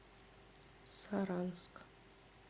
саранск